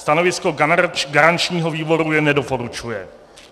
Stanovisko garančního výboru je - nedoporučuje.